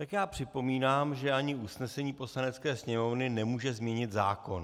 Tak já připomínám, že ani usnesení Poslanecké sněmovny nemůže změnit zákon.